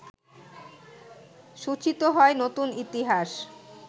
সূচিত হয় নতুন ইতিহাস